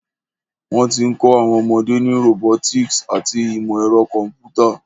Wọ́n ti ń kọ́ àwọn ọmọdé ní robotics àti ìmọ̀ ẹ̀rọ kọ̀m̀pútà.